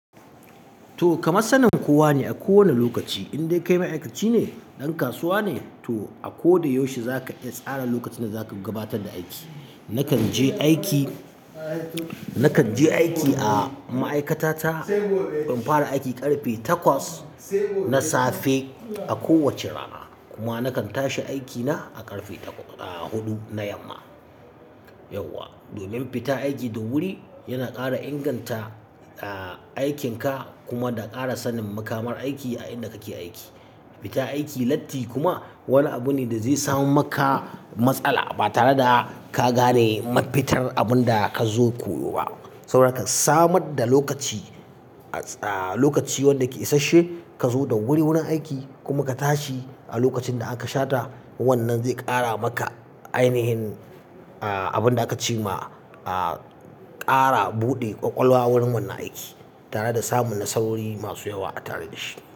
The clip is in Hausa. To kamas sanin kowa ne a kowane lokaci, indai kai ma'aikaci ne, ɗan kasuwa ne to a ko da yaushe za ka iya tsara lokacin da za ka gabatar da aiki. Nakan je aiki, nakan je aiki a ma'aikata ta, in fara aiki ƙarfe takwas na safe a kowacce rana kuma nakan tashi aiki na a ƙarfe ta-- a huɗu na yamma. Yauwa, domin fita aiki da wuri yana ƙara inganta, a, aikinka kuma da ƙara sanin mukamar aiki a inda kake aiki. Fita aiki latti kuma wani abu ne da zai sama maka matsala ba tare da ka gane mafitar abin da ka zo koyo ba. Saboda haka samar da lokaci, a, lokaci wanda ke isasshe ka zo da wuri wurin aiki kuma ka tashi a lokacin da aka shata, wannan zai ƙara maka ainihin, a, abin da aka ce ma, a, ƙara buɗe ƙwaƙwalwa wurin wannan aiki tare da samun Nasarori masu yawa a tare da shi.